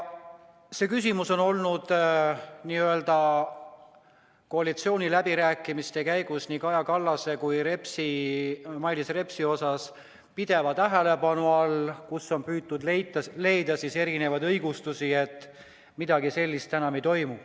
See küsimus on koalitsiooniläbirääkimiste käigus olnud nii Kaja Kallase kui ka Mailis Repsi puhul pideva tähelepanu all ja nad on püüdnud leida erinevaid õigustusi ja väitnud, et midagi sellist enam ei toimu.